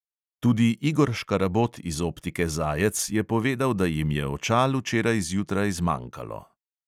Tudi igor škarabot iz optike zajec je povedal, da jim je očal včeraj zjutraj zmanjkalo.